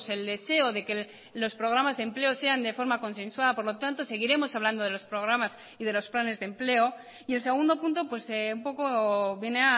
el deseo de que los programas de empleo sean de forma consensuada por lo tanto seguiremos hablando de los programas y de los planes de empleo y el segundo punto un poco viene